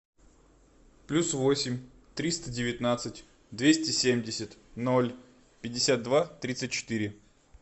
плюс восемь триста девятнадцать двести семьдесят ноль пятьдесят два тридцать четыре